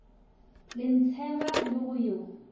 go ntsheba le go yo